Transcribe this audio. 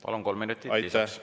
Palun, kolm minutit lisaks!